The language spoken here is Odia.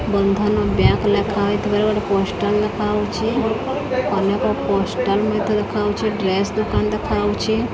ବନ୍ଧନ ବ୍ୟାଙ୍କ୍ ଲେଖା ହୋଇଥିବାର ଗୋଟେ ପୋଷ୍ଟର ଦେଖା ହଉଚି ଅନେକ ପୋଷ୍ଟର ମଧ୍ୟ ଦେଖାଉଚି ଡ୍ରେସ ଦୋକାନ ଦେଖା ଯାଉଛି।